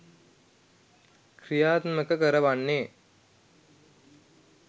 ක්‍රියාත්මක කරවන්නේ